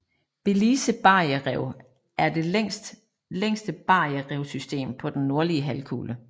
Belize barrierev er det længste barriererevssystem på den nordlige halvkugle